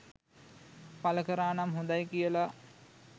පල කරානම් හොඳයි කියල